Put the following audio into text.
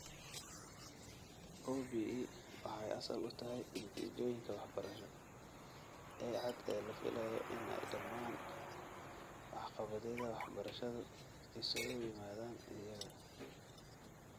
OBE waxay asal u tahay natiijooyinka waxbarasho ee cad ee la filayo si ay dhammaan waxqabadyada waxbarashadu isugu yimaadaan iyaga.